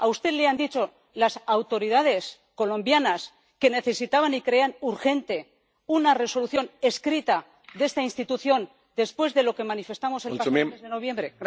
¿A usted le han dicho las autoridades colombianas que necesitaban y creían urgente una Resolución escrita de esta institución, después de lo que manifestamos el mes de noviembre?